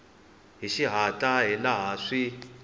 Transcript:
hi xihatla hi laha swi